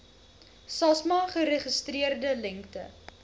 samsa geregistreerde lengte